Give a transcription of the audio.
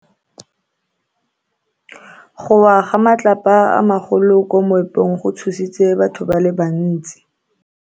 Go wa ga matlapa a magolo ko moepong go tshositse batho ba le bantsi.